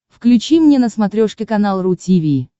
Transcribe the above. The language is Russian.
включи мне на смотрешке канал ру ти ви